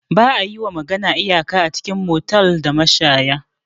Ba'a yiwa magana iyaka a cikin motels da mashaya.